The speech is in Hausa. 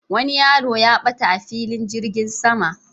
Wani yaro ya ɓata a filin jirgin sama